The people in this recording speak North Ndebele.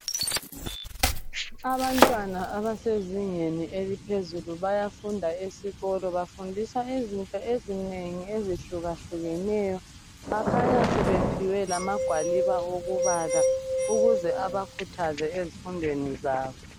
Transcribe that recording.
Abantwana abasezingeni eliphezulu bayafunda esikolo, bafundiswa izinto ezinengi ezihlukahlukeneyo bakhanya sebephiwe lamagwaliba okubala ukuze abakhuthaze ezifundweni zabo.